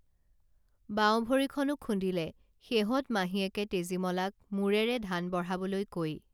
বাওঁভৰিখনো খুন্দিলে শেহত মাহীয়েকে তেজীমলাক মূৰেৰে ধান বঢ়াবলৈ কৈ